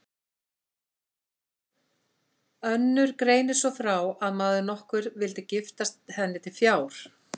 Önnur greinir svo frá að maður nokkur vildi giftast henni til fjár.